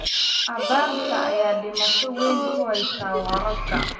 Abaarta ayaa dhibaato weyn ku haysa waraabka.